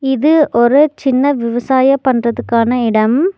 இது ஒரு சின்ன விவசாய பண்றதுக்கான இடம்.